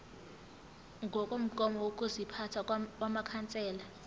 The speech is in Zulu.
ngokomgomo wokuziphatha wamakhansela